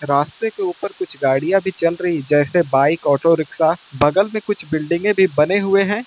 रास्ते के ऊपर कुछ गाड़ियां भी चल रही जैसे बाइक ऑटो-रिक्शा । बगल में कुछ बिल्डिंगें भी बने हुए हैं।